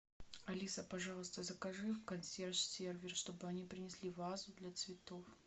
алиса пожалуйста закажи в консьерж сервис чтобы они принесли вазу для цветов